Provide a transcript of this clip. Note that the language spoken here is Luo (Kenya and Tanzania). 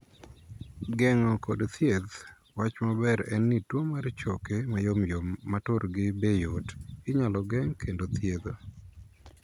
Geng'o kod thieth. Wach maber en ni tuo mar choke mayomyom ma turgi be yot inyal geng' kendo thiedho.